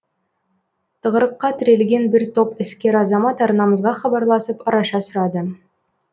тығырыққа тірелген бір топ іскер азамат арнамызға хабарласып араша сұрады